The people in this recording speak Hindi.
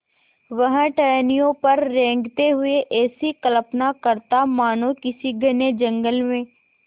वह टहनियों पर रेंगते हुए ऐसी कल्पना करता मानो किसी घने जंगल में